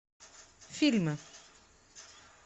фильмы